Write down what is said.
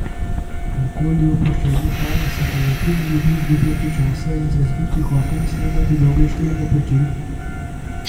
Okoli opuščenih hal se še vetru ne ljubi izgubljati časa in z razbitih oken snemati dolge štrene pajčevin.